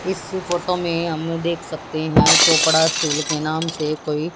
इस फोटो में हमने देख सकते हैं चोपड़ा स्टील के नाम से कोई --